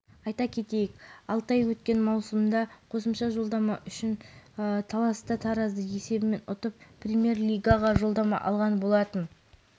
илиан илиев болгариядағы танымал жаттықтырушылардың бірі клубтық деңгейде черно море берое левски клубтарын жаттықтырған соңғы рет пловдивтің локомотив футболшыларына жетекшілік еткен